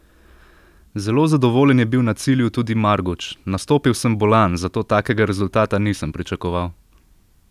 Zelo zadovoljen je bil na cilju tudi Marguč: "Nastopil sem bolan, zato takega rezultata nisem pričakoval.